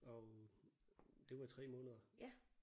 Og det var i 3 måneder